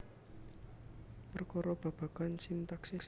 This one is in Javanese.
Perkara babagan sintaksis